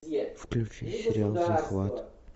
включи сериал захват